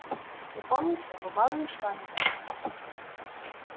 вы помните бывало ли с вами так